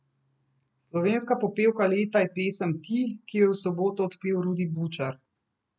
Slovenska popevka leta je pesem Ti, ki jo je v soboto odpel Rudi Bučar.